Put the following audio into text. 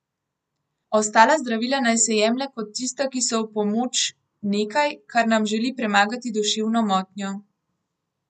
Ostala zdravila naj se jemlje kot tista, ki so v pomoč, nekaj, kar nam želi premagati duševno motnjo.